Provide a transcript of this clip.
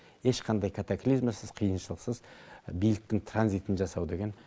ешқандай катаклизмасыз қиыншылықсыз биліктің транзитін жасау деген